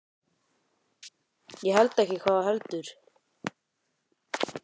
Ég held ekki, hvað heldur þú?